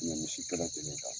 N'i ye misi kelen kelen ta